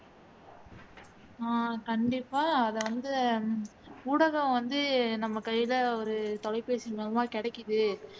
அஹ் கண்டிப்பா அது வந்து ஊடகம் வந்து நம்ம கைல ஒரு தொலைபேசி மூலமா கிடைக்கிது